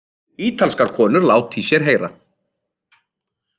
Ítalskar konur láta í sér heyra